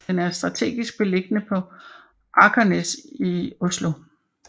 Den er strategisk beliggende på Akersnæs i Oslo